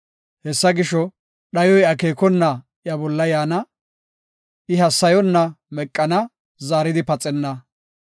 Hessa gisho dhayoy akeekona iya bolla yaana; I hassayonna meqana; zaaridi paxenna.